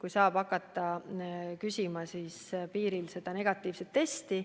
Siis saab hakata piiril küsima negatiivset testi.